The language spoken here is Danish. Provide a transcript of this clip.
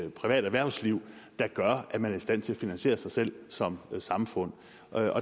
et privat erhvervsliv der gør at man er i stand til at finansiere sig selv som samfund